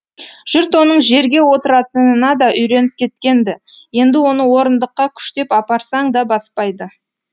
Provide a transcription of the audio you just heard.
жұрт оның жерге отыратынына да үйреніп кеткен ді енді оны орындыққа күштеп апарсаң да баспайды